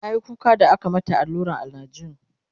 tayi kuka da aka mata alluran analjin